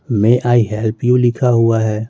May I help you लिखा हुआ है।